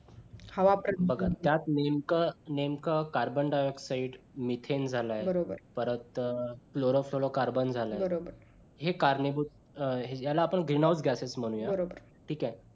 हवा प्र बघा त्यात नेमकं नेमकं carbon dioxide with then झालं परत cloro floro carbun झालाय हे करणीभुत आहे याला आपण vihanod gathering म्हणुया ठीक आहे.